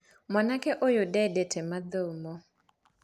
Mwanake ũyũ ndendete mathomo.